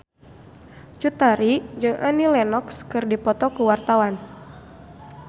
Cut Tari jeung Annie Lenox keur dipoto ku wartawan